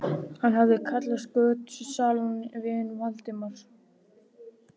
Hann hafði kallað götusalann vin Valdimars.